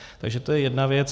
Takže to je jedna věc.